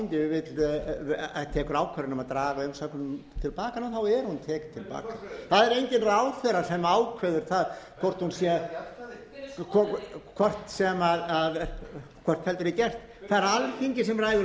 á alþingi tekur ákvörðun um að draga umsóknina til baka þá er hún tekin til baka það er enginn ráðherra sem ákveður það hvort hún sé hvort heldur er gert það er alþingi sem ræður og erum við ekki